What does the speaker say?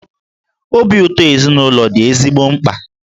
Obi ụtọ ezinụlọ dị ezigbo mkpa.